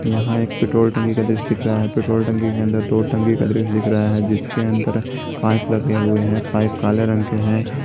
यहाँ एक पेट्रोल टंकी का दृश्य दिख रहा है पेट्रोल टंकी के अंदर दो टंकी का दृश्य दिख रहा है जिसके अंदर पाइप लगे हुए हैं पाइप काले रंग के हैं।